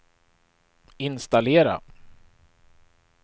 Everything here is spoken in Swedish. installera